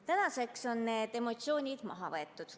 Tänaseks on need emotsioonid leevenenud.